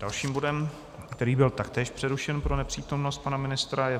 Dalším bodem, který byl taktéž přerušen pro nepřítomnost pana ministra, je